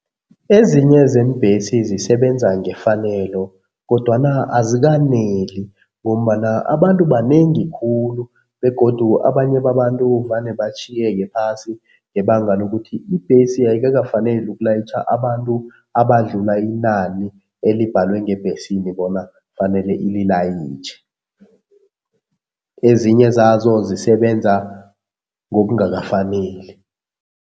Ezinye zeembhesi zisebenza ngefanelo kodwana azikaneli ngombana abantu banengi khulu begodu abanye babantu vane batjhiyeke phasi ngebanga lokuthi ibhesi ayikakafaneli ukulayitjha abantu abadlula inani elibhalwe ngebhesini bona kufanele ililayitjhe. Ezinye zazo zisebenza ngokungakafaneli.